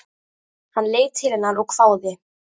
Hann leit til hennar og hváði.